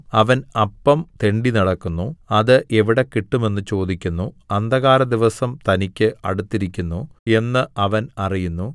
അവൻ അപ്പം തെണ്ടിനടക്കുന്നു അത് എവിടെ കിട്ടും എന്ന് ചോദിക്കുന്നു അന്ധകാരദിവസം തനിക്ക് അടുത്തിരിക്കുന്നു എന്ന് അവൻ അറിയുന്നു